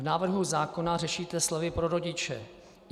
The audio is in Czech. V návrhu zákona řešíte slovy "pro rodiče".